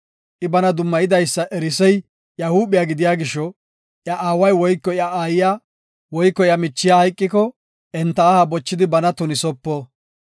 I bana dummayidaysa erisey iya huuphiya gidiya gisho, iya aaway woyko iya aayiya woyko iya ishay woyko iya michiya hayqiko enta aha bochidi bana tunisopo.